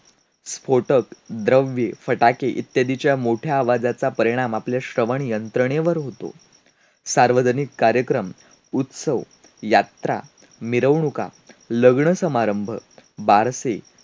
सुखाविषयेच्या माझ्या कल्पनेतून पुस्तक वगळली तर सारं सुखच संपुष्टात आल अस म्हणाव लागेल.